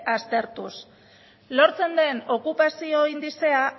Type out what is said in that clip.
aztertuz lortzen den okupazio indizea